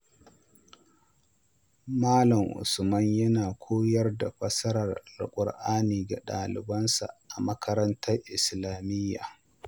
Malam Usman yana koyar da fassarar Alƙur’ani ga ɗalibansa a makarantar Islamiyya.